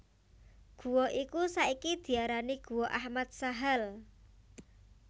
Gua iku saiki diarani Guwa Ahmad Sahal